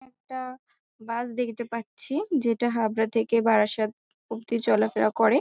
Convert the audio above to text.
একটা বাস দেখতে পাচ্ছি যেটা হাবরা থেকে বারাসাত অবধি চলাফেরা করে ।